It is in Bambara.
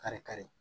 Kari kari